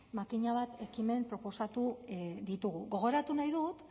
makina bat ekimen proposatu ditugu gogoratu nahi dut